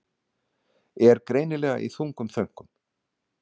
Er greinilega í þungum þönkum.